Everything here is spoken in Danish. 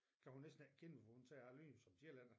Kan hun næsten ikke kende mig for hun siger jeg lyder som en sjællænder